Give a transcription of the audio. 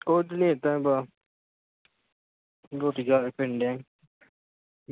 ਕੁਝ ਨਹੀਂ ਏਦਾਂ ਈ ਬਸ ਰੋਟੀ ਖਾ ਕੇ ਫਿਰਨ ਦਿਆ ਈ।